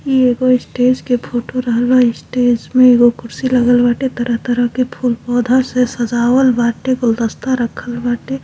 ई एगो स्टेज के फोटो रहल बा स्टेज में एगो कुर्सी लागल बांटे तरह तरह के फुल पौधा से सजावल बांटे गुलदस्ता रखल बांटे।